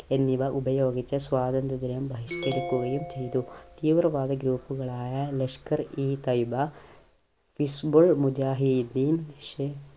എന്നിവ ഉപയോഗിച്ച് സ്വാതന്ത്ര്യ ദിനം ബഹിഷ്ക്കരിക്കുകയും ചെയ്തു. തീവ്രവാദി Group കളായ ലഷ്കർ ഈ തൈബ, ഹിസ്‌ബുൾ മുജാഹിദീൻ